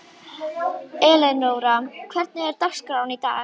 Elenóra, hvernig er dagskráin í dag?